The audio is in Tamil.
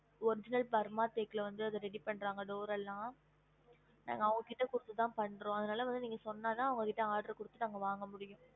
Original பர்மா தேக்கு ல இருந்து அத ready பண்றாங்க door எல்லாம் நாங்க அவங்க கிட்ட குடுத்து தான் பண்றோம் அதனால வந்து நீங்க சொன்ன தான் அவங்க கிட்ட order குடுத்து நாங்க வாங்க முடியும்